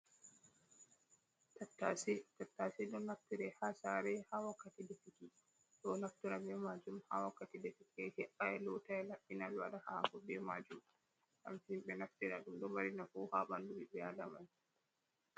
Tattase, tattase ɗo naftire ha sare ha wakkati defuki, ɓe ɗo naftora be majum ha wakkati defuki, he'ai, lotai laɓɓina, ɓe waɗa hako be majum, ngam himɓe naftira ɗum ɗo mari nafu ha ɓandu ɓiɓɓe Adaman.